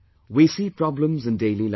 We see problems in daily life